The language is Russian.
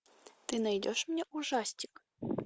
ты найдешь мне ужастик